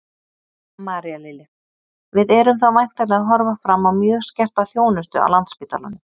María Lilja: Við erum þá væntanlega að horfa fram á mjög skerta þjónustu á Landspítalanum?